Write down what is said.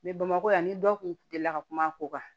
bamakɔ yan ni dɔ kun delila ka kuma a ko kan